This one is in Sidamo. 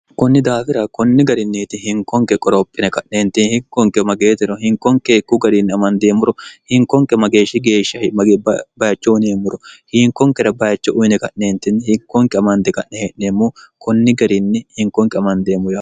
kunni daafira kunni garinniiti hinkonke qoroophine ka'neenti hikkonke mageetiro hinkonkeekku gariinni amandeemmuro hinkonke mageeshshi geeshshahigbayicho uyineemmuro hiinkonkera bayicho uyine ka'neentinni hikkonke amande ka'ne hee'neemmu kunni gariinni hinkonke amandeemmoyoo